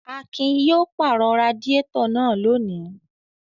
Akin yóò pàrọ̀ radiátọ̀ náà lónìí!